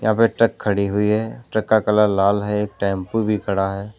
यहां पे एक ट्रक खड़ी है ट्रक का कलर लाल है एक टेंपू खड़ा है।